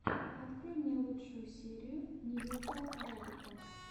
открой мне лучшую серию ньюка рэббита